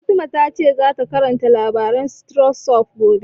Fatima ta ce za ta karanta labarin stone soup gobe